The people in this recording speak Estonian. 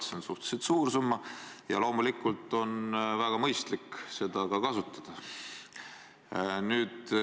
See on suhteliselt suur summa ja loomulikult on väga mõistlik seda ka kasutada.